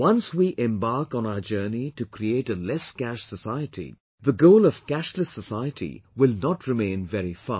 Once we embark on our journey to create a 'lesscash society', the goal of 'cashless society' will not remain very far